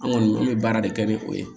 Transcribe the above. An kɔni an bɛ baara de kɛ ni o ye